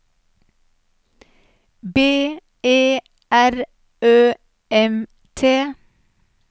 B E R Ø M T